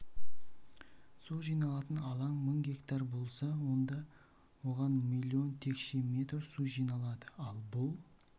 су жиналатын алаң мың гектар болса онда оған млн текше метр су жиналады ал бұл